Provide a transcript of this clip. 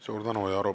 Suur tänu!